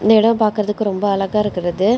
இந்த இடம் பாக்குறதுக்கு ரொம்ப அழகா இருக்கிறது.